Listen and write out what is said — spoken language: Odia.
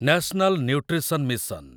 national nutrition mission